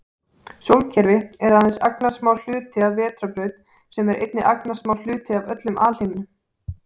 Sólkerfi er aðeins agnarsmár hluti af vetrarbraut sem er einnig agnarsmár hluti af öllum alheiminum.